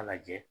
A lajɛ